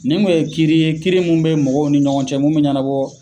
Nin kun ye kiiri ye , kiiri minnu bɛ mɔgɔw ni ɲɔgɔn cɛ mun bɛ ɲɛnabɔ.